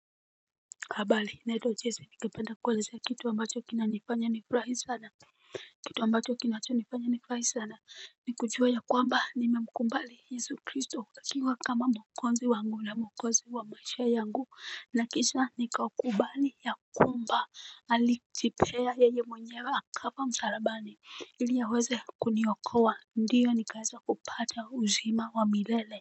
Habari naitwa jessie ningependa kueleza kitu ambacho kinanifanya nifurahi sana. Kitu ambacho kinachonifanya nifurahi sana ni kujua ya kwamba nimemkubali Yesu Kristo akiwa kama mwokozi wangu na mwokozi wa maisha yangu na kisha nikakubali ya kwamba alijipea yeye mwenyewe akafa msalabani ili aweze kuniokoa ndiyo nikaweza kupata uzima wa milele.